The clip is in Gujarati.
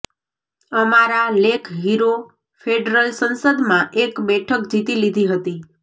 અમારા લેખ હીરો ફેડરલ સંસદમાં એક બેઠક જીતી લીધી હતી